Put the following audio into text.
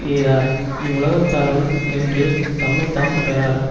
எய்தார் இவ்வுலகத்தாருள் என்று தம்மைத்தாம் பெறார்